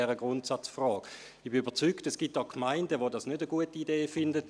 Ich bin überzeugt, dass es Gemeinden gibt, die dies keine gute Idee finden.